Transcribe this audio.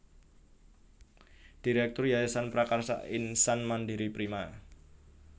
Direktur Yayasan Prakasa Insan Mandiri Prima